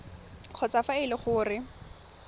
kgotsa fa e le gore